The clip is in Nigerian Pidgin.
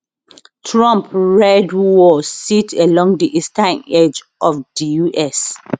trump red wall sit along di eastern edge of di us